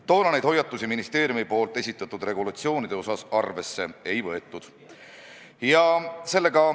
Toona ministeerium neid hoiatusi regulatsioone kehtestades arvesse ei võtnud.